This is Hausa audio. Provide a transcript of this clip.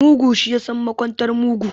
Mugu, shi ya san makwantar mugu.